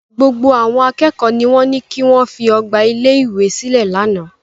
Gbogbo àwọn akẹ́kọ̀ọ́ ni wọ́n ní kí wọ́n fi ọgbà ilé-ìwé sílẹ̀ lánàá.